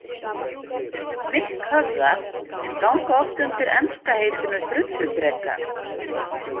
Hnykkhöfðar ganga oft undir enska heitinu „drulludrekar“.